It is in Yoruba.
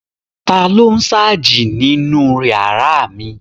Taló n sáàjì nínu yàrá mi?